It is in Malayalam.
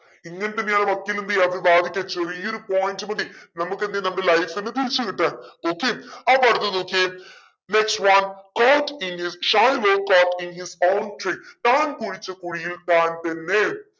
ഇങ്ങനെത്തന്നെയാണ് വക്കീലെന്തെയ്യ അത് വാദിക്ക ചെറിയൊരു point മതി നമ്മുക്കെന്തെയ്യ നമ്മുടെ life ന്നെ തിരിച്ചു കിട്ട okay അപ്പൊ അടുത്തത് നോക്കിയേ next whatcourt is Shylock court is on താൻ കുഴിച്ച കുഴിയിൽ താൻ തന്നെ